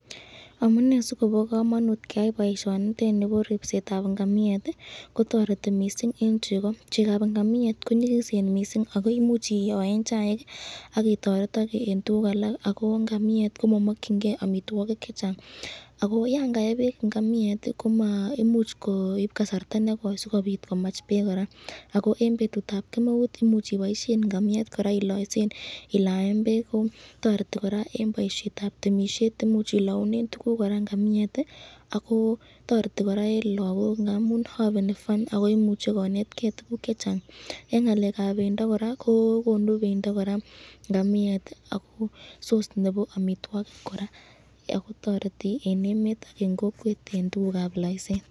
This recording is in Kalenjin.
Amune sikobo kamanut keyai boisyoniteni bo ngamiet kotoreti mising eng cheko chekab ngamiet ko nyikisen mising ako imuch iyoen chaik akotoretake eng ialak ngamiet komakyinke amitwokik chechang ako yan kae bek ngamiet imuch koib kasarta nekoi sikomach bek koraa ako betutab kemeut imuch iboishen ngamiet kora iloysen ilaen bek toreti koraa boishetab temisyet imuch ilaunen tukuk ngamiet ako toreti koraa eng lagok, ako ngamun haveni fun[cd] akoimuche koneteken tukuk chechang eng ngalekab bendo koraa kokonu bendo koraa ngamiet.